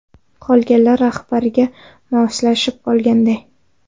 Qolganlar rahbariga moslashib olganday.